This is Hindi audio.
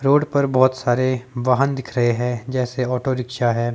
रोड पर बहुत सारे वाहन दिख रहे है जैसे ऑटो रिक्शा है।